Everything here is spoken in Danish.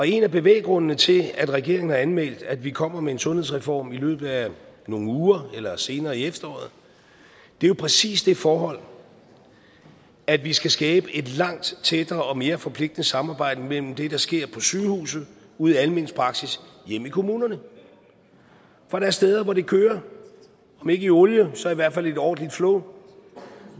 en af bevæggrundene til at regeringen har anmeldt at vi kommer med en sundhedsreform i løbet af nogle uger eller senere i efteråret er jo præcis det forhold at vi skal skabe et langt tættere og mere forpligtende samarbejde mellem det der sker på sygehusene ude i almen praksis og hjemme i kommunerne der er steder hvor det kører om ikke i olie så i hvert fald i et ordentligt flow